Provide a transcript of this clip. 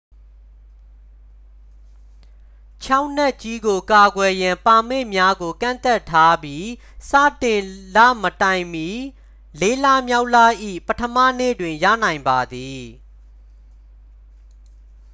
ချောက်နက်ကြီးကို ကာကွယ်ရန် ပါမစ်များကို ကန့်သတ်ထားပြီး စတင်လမတိုင်မီ လေးလမြောက်လ၏ ပထမနေ့တွင် ရနိုင်ပါသည်